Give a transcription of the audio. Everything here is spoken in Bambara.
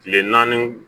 Kile naani